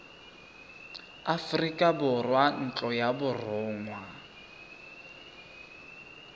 aforika borwa ntlo ya borongwa